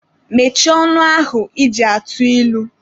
Mechie ọnụ ahụ ị ji atụ ilu!